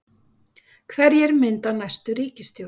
Hverjir mynda næstu ríkisstjórn?